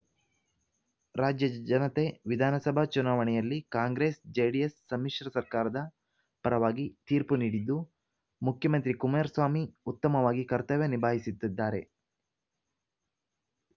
ರಾಜ್ಯದ ಜನತೆ ವಿಧಾನಸಭಾ ಚುನಾವಣೆಯಲ್ಲಿ ಕಾಂಗ್ರೆಸ್‌ಜೆಡಿಎಸ್‌ ಸಮ್ಮಿಶ್ರ ಸರ್ಕಾರದ ಪರವಾಗಿ ತೀರ್ಪು ನೀಡಿದ್ದು ಮುಖ್ಯಮಂತ್ರಿ ಕುಮಾರಸ್ವಾಮಿ ಉತ್ತಮವಾಗಿ ಕರ್ತವ್ಯ ನಿಭಾಯಿಸುತ್ತಿದ್ದಾರೆ